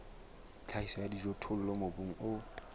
tlhahiso ya dijothollo mobung o